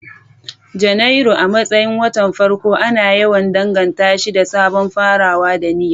Janairu, a matsayin watan farko, ana yawan danganta shi da sabon farawa da niyya.